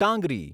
ટાંગરી